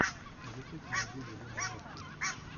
ютуб найди елену нескви